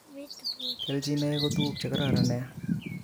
Kelchinoek ko tuguk che kororon nia